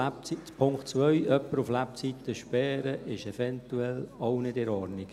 Jemanden auf Lebzeiten zu sperren, ist eventuell auch nicht in Ordnung.